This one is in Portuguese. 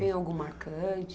Tem algo marcante?